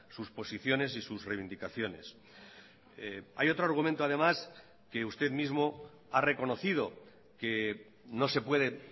sus posiciones y sus reivindicaciones hay otro argumento además que usted mismo ha reconocido que no se puede